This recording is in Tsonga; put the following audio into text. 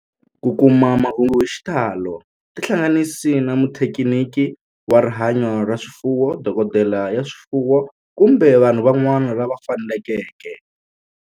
Ku kuma mahungu hi xitalo tihlanganisi na muthekiniki wa rihanyo ra swifuwo, dokodela ya swifuwo, kumbe vanhu van'wana lava fanelekeke